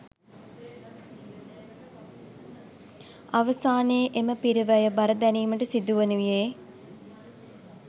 අවසානයේ එම පිරිවැය බර දැරීමට සිදුවනුයේ